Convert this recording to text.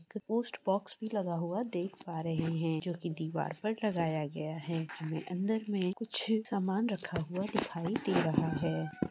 एक post box भि लगा हुआ देख पा रहे है जोकि दीवार पर लगाया गया है अन्दर मे कुछ समान रखा हुआ दिखाई दे रहा है।